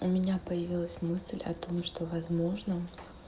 у меня появилась мысль о том что возможно